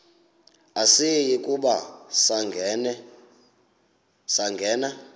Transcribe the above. asiyi kuba sangena